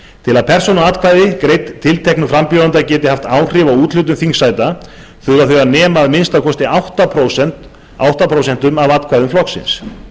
til að persónuatkvæði greidd tilteknum frambjóðanda geti haft áhrif á úthlutun þingsæta þurfa þau að nema að minnsta kosti átta prósent af atkvæðum flokksins